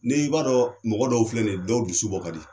Ne' i b'a dɔn mɔgɔ dɔw filɛ nin ye dɔw dusu bɔ ka di.